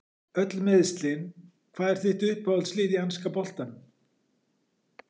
Öll meiðslin Hvað er þitt uppáhalds lið í enska boltanum?